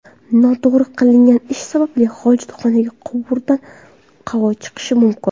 Noto‘g‘ri qilingan ish sababli, hojatxonaga quvurdan havo chiqishi mumkin.